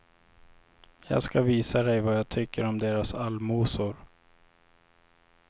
Jag ska visa dej vad jag tycker om deras allmosor.